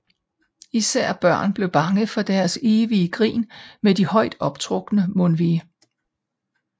Især børn bliver bange for deres evige grin med de højt optrukne mundvige